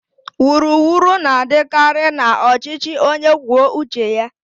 Wuru wuru na-adịkarị na ọchịchị onye kwuo uche ya.